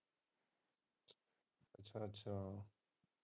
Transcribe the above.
ਅੱਛਾ ਅੱਛਾ।